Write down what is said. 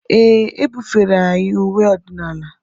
Ee, e bufere anyị uwe ọdịnala.